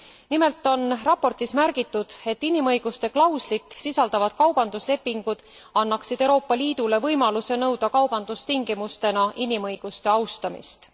Nimelt on raportis märgitud, et inimõiguste klauslit sisaldavad kaubanduslepingud annaksid Euroopa Liidule võimaluse nõuda kaubandustingimustena inimõiguste austamist.